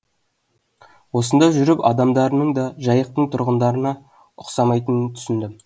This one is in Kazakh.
осында жүріп адамдарының да жайықтың тұрғындарына ұқсамайтынын түсіндім